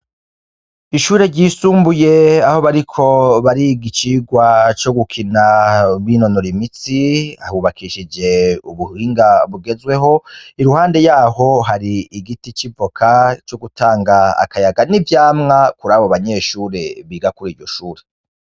Ishuri ryisumbuye aho bariko bariga icirwa co gukina binonora imitsi, Hubakishijwe ubuhinga bugezweho iruhande yaho hari igiti c'ivoka co gutanga akayaga n'ivyamwa kurabo banyeshure biga kuriryo shure.